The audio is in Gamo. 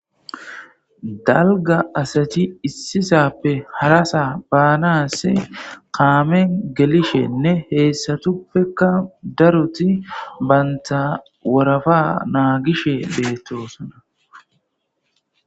Dalga asati issisappe harasa baanas kaamen gelishenne heessatuppeka daruti baynta worafa naa gishe beettosona.